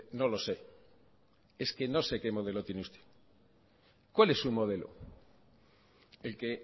no lo sé es que no sé qué modelo tiene usted cuál es su modelo el que